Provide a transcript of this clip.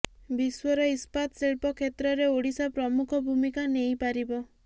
ବିଶ୍ୱର ଇସ୍ପାତ ଶିଳ୍ପ କ୍ଷେତ୍ରରେ ଓଡିଶା ପ୍ରମୁଖ ଭୂମିକା ନେଇପାରିବ